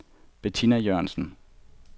Betina Jørgensen